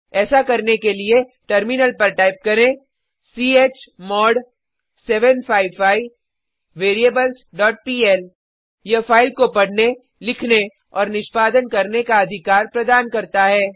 ऐसा करने के लिए टर्मिनल पर टाइप करें चमोड़ 755 वेरिएबल्स डॉट पीएल यह फाइल को पढने लिखने और निष्पादन करने का अधिकार प्रदान करता है